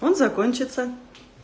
он закончится